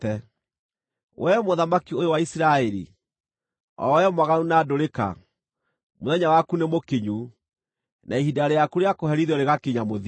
“ ‘Wee mũthamaki ũyũ wa Isiraeli, o wee mwaganu na ndũrĩka, mũthenya waku nĩmũkinyu, na ihinda rĩaku rĩa kũherithio rĩgakinya mũthia.